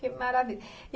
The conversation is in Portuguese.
Que maravilha!